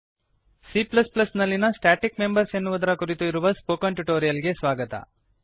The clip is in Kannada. C ನಲ್ಲಿಯ ಸ್ಟಾಟಿಕ್ ಮೆಂಬರ್ಸ್ ಸ್ಟ್ಯಾಟಿಕ್ ಮೆಂಬರ್ಸ್ ಎನ್ನುವುದರ ಕುರಿತು ಇರುವ ಸ್ಪೋಕನ್ ಟ್ಯುಟೋರಿಯಲ್ ಗೆ ಸ್ವಾಗತ